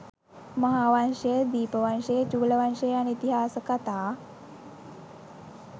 මහාවංශය, දීපවංශය, චූලවංශය යන ඉතිහාස කතා